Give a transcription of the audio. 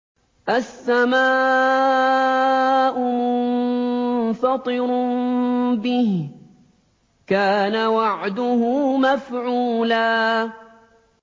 السَّمَاءُ مُنفَطِرٌ بِهِ ۚ كَانَ وَعْدُهُ مَفْعُولًا